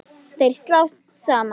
Þeir slást saman.